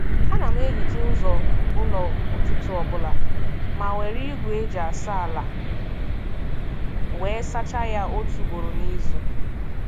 A na m ehicha ụzọ ụlọ ụtụtụ ọbụla ma were igwe eji asa ala wee sachaa ya otu ugboro n'izu.